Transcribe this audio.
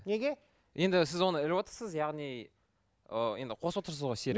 неге енді сіз оны іліп отырсыз яғни ы енді қосып отырсыз ғой серік